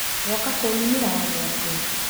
Woka kũnumĩra o gwakwa?